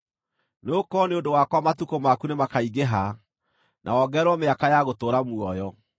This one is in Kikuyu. Nĩgũkorwo nĩ ũndũ wakwa matukũ maku nĩmakaingĩha, na wongererwo mĩaka ya gũtũũra muoyo.